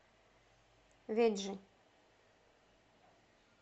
веджи